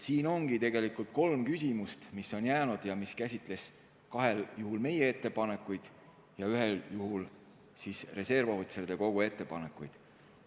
Siin ongi tegelikult kolm küsimust, mis on püsima jäänud ning mis puudutavad kahel juhul meie ettepanekuid ja ühel juhul reservohvitseride kogu ettepanekuid.